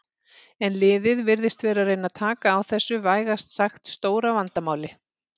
En liðið virðist vera að reyna taka á þessu vægast sagt stóra vandamáli.